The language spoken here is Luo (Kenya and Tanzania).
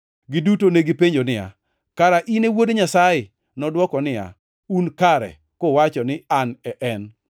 Giduto negipenjo niya, “Kara in e Wuod Nyasaye?” Nodwoko niya, “Un kare kuwacho ni An e en!”